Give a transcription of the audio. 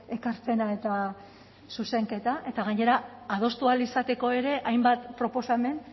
ekarpena eta zuzenketa eta gainera adostu ahal izateko ere hainbat proposamen